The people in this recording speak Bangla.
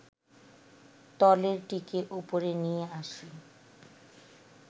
তলেরটিকে ওপরে নিয়ে আসি